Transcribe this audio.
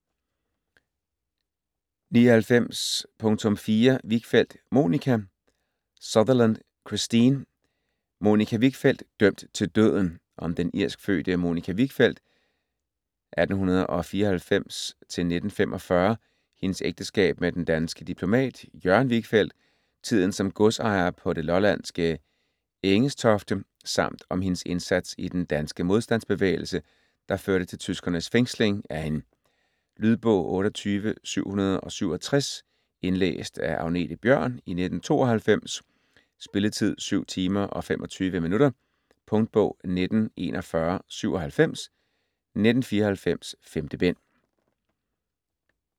99.4 Wichfeld, Monica Sutherland, Christine: Monica Wichfeld - dømt til døden Om den irskfødte Monica Wichfeld (1894-1945), hendes ægteskab med den danske diplomat Jørgen Wichfeld, tiden som godsejere på det lollandske Engestofte samt om hendes indsats i den danske modstandsbevægelse, der førte til tyskernes fængsling af hende. Lydbog 28767 Indlæst af Agnethe Bjørn, 1992. Spilletid: 7 timer, 25 minutter. Punktbog 194197 1994. 5 bind.